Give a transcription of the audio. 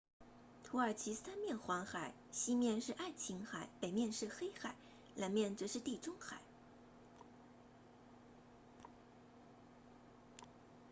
土耳其三面环海西面是爱琴海北面是黑海南面则是地中海